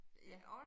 Ja